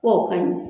K'o ka ɲɛ